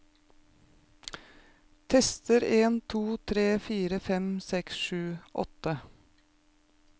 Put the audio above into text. Tester en to tre fire fem seks sju åtte